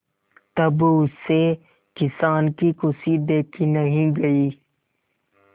तब उससे किसान की खुशी देखी नहीं गई